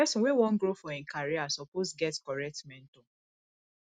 pesin wey wan grow for im career suppose get correct mentor